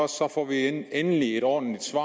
så får vi endelig et ordentligt svar